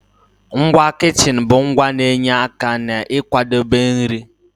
Ngwa kichin bụ ngwa na-enye aka n'ịkwadebe nri.